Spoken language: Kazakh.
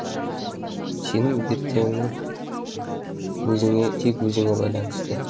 сенің ертеңің өзіңе тек өзіңе байланысты